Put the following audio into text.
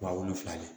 Wa wolonfila de don